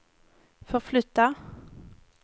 förflytta